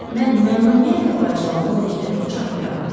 Mən məmnuniyyətlə o alçağı 12 dəfə bıçaqlayardım.